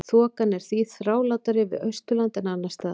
Þokan er því þrálátari við Austurland en annars staðar.